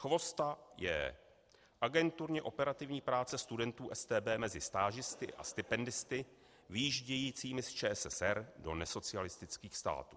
CHVOSTA, J.: Agenturně operativní práce studentů StB mezi stážisty a stipendisty vyjíždějícími z ČSSR do nesocialistických států.